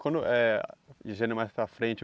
Quando eh dizendo mais para frente